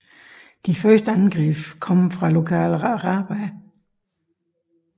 De første angreb kom fra lokale arabere